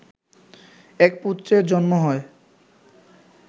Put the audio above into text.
এক পুত্রের জন্ম হয়